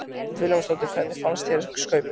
Hödd Vilhjálmsdóttir: Hvernig fannst þér Skaupið?